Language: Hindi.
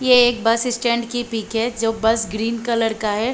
ये एक बस स्टैंड की पिक हैं जो बस ग्रीन कलर का हैं।